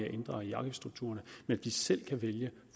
at ændre i afgiftsstrukturerne så de selv kan vælge